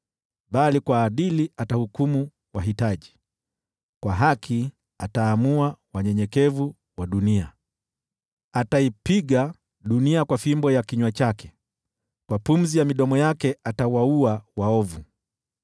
bali kwa uadilifu atahukumu wahitaji, kwa haki ataamua wanyenyekevu wa dunia. Ataipiga dunia kwa fimbo ya kinywa chake, kwa pumzi ya midomo yake atawaua waovu.